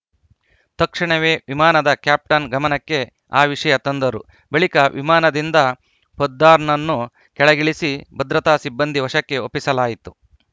ತಕ್ಷಣವೇ ವಿಮಾನದ ಕ್ಯಾಪ್ಟನ್‌ ಗಮನಕ್ಕೆ ಆ ವಿಷಯ ತಂದರು ಬಳಿಕ ವಿಮಾನದಿಂದ ಪೊದ್ದಾರ್‌ನನ್ನು ಕೆಳಗಿಳಿಸಿ ಭದ್ರತಾ ಸಿಬ್ಬಂದಿ ವಶಕ್ಕೆ ಒಪ್ಪಿಸಲಾಯಿತು